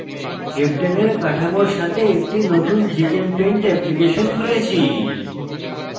heptane heptane এর কাঠামোর সাথে একটি নতুন gchempaint অ্যাপ্লিকেশন খুলেছি